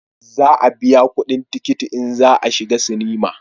Za a biya kudin tikiti in za a shiga sinima